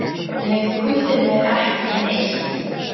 Nei, þú hittir mig ekki neitt.